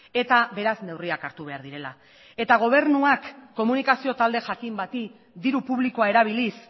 eta beraz neurriak hartu behar direla eta gobernuak komunikazio talde jakin bati diru publikoa erabiliz